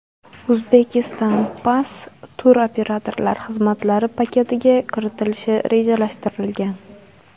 Uzbekistan Pass turoperatorlar xizmatlari paketiga kiritilishi rejalashtirilgan.